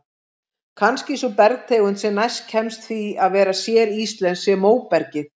Kannski sú bergtegund sem næst kemst því að vera séríslensk sé móbergið.